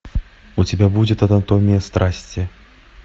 у тебя будет анатомия страсти